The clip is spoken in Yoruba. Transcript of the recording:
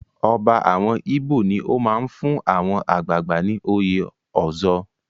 Ọba àwọn Ibo ní ó máa fún àwọn àgbààgbà ní oyè Ozo.